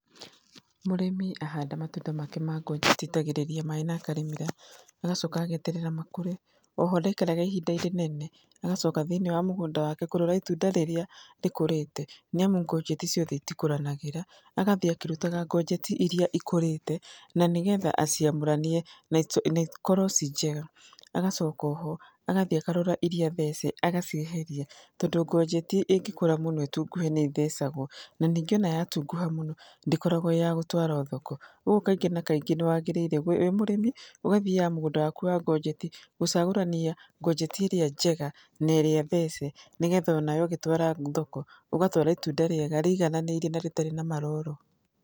Mũrĩmi ahanda matunda make ma ngonjeti aitagĩrĩria maĩ na akarĩmĩra, agacoka ageterera makũre. Oho ndaikaraga ihinda rĩnene, agacoka thĩiniĩ wa mũgũnda wake kũrora itunda rĩrĩa rĩkũrĩte. Nĩ amu ngonjeti ciothe itikũranagĩra, agathiĩ akĩrutaga ngonjeti iria ikũrĩte na nĩ getha aciamũranie na ikorwo ciĩ njega. Agacoka oho agathiĩ akarora iria thece agacieheria, tondũ ngonjeti ĩngĩkũra mũno ĩtunguhe nĩ ĩthecagwo na ningĩ ona yatunguha mũno ndĩkoragwo ya gũtwarwo thoko. Ũguo kaingĩ na kaingĩ nĩ wagaĩrĩirwo wĩ mũrĩmi ũgathiaga mũgũnda waku wa ngonjeti gũcagũrania ngonjeti ĩrĩa njega na ĩrĩa thece, nĩ getha onawe ũgĩtwara thoko ũgatwara itunda rĩega rĩigananĩire na rĩtarĩ na maroro.